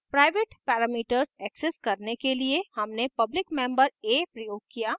private parameters access करने के लिए हमने public member a प्रयोग किया